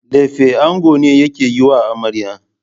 Lefe ango ne yake yiwa amarya.